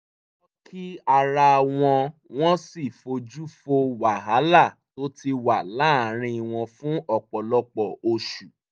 wọ́n kí ara wọn wọ́n sì fojú fo wàhálà tó ti wà láàárín wọn fún ọ̀pọ̀lọpọ̀ oṣù